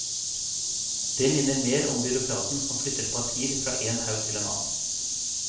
Det minner mer om byråkraten som flytter papirer fra én haug til en annen.